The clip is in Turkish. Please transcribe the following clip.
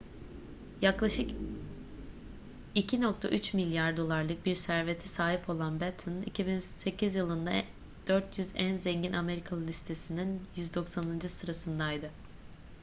yaklaşık 2.3 milyar dolarlık bir servete sahip olan batten 2008 yılında 400 en zengin amerikalı listesinin 190. sırasındaydı